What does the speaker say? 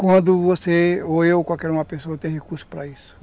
Quando você, ou eu, qualquer uma pessoa tem recurso para isso.